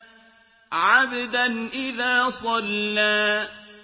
عَبْدًا إِذَا صَلَّىٰ